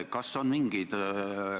Lugupeetud Jüri Ratas!